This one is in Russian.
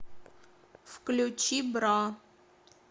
включи бра